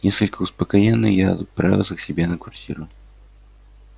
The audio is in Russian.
несколько успокоенный я отправился к себе на квартиру